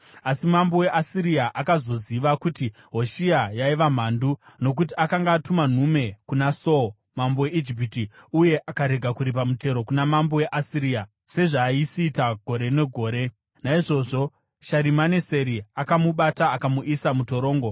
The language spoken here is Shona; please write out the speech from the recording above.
Asi mambo weAsiria akazoziva kuti Hoshea yaiva mhandu, nokuti akanga atuma nhume kuna So, mambo weIjipiti, uye akarega kuripa mutero kuna mambo weAsiria, sezvaaisiita gore negore. Naizvozvo Sharimaneseri akamubata akamuisa mutorongo.